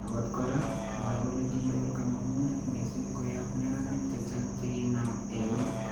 Akot koraa , mwae kole kinyoor kamangunet missing koyaab neranik chechang chekinam eun